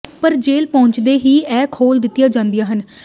ਪਰ ਜੇਲ੍ਹ ਪਹੁੰਚਦੇ ਹੀ ਇਹ ਖੋਲ੍ਹ ਦਿੱਤੀਆਂ ਜਾਂਦੀਆਂ ਹਨ